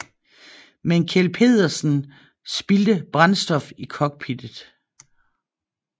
Men Kjeld Petersen spildte brændstof i cockpittet